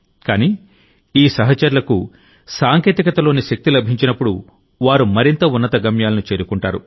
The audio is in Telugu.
కానీ ఈ సహచరులకు సాంకేతికత లోని శక్తి లభించినప్పుడు వారు మరింత ఉన్నత గమ్యాలను చేరుకుంటారు